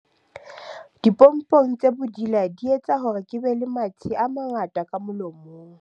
dipompong tse bodila di etsa hore ke be le mathe a mangata ka molomong